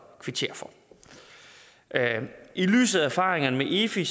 kvittere for i lyset af erfaringerne med efi